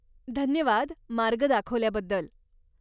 धन्यवाद मार्ग दाखवल्याबद्दल.